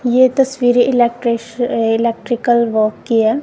ये तस्वीर electric electrical work कि है।